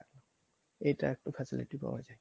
এটা একটা facility বলা যায়